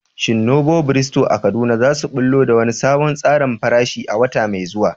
Shin Novo Bistro a Kaduna za su ɓullo da wani sabon tsarin farashi a wata mai zuwa?